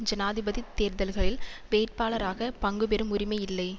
ஜனாதிபதி தேர்தல்களில் வேட்பாளராக பங்கு பெறும் உரிமை இல்லை